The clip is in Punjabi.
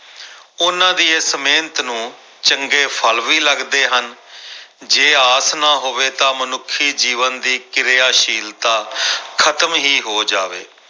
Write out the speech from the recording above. ਉਹਨਾਂ ਦੀ ਇਸ ਮਿਹਨਤ ਨੂੰ ਚੰਗੇ ਫਲ ਵੀ ਲੱਗਦੇ ਹਨ ਜੇ ਆਸ ਨਾ ਹੋਵੇ ਤਾਂ ਮਨੁੱਖੀ ਜੀਵਨ ਦੀ ਕਿਰਿਆਸ਼ੀਲਤਾ ਖ਼ਤਮ ਹੀ ਹੋ ਜਾਵੇ।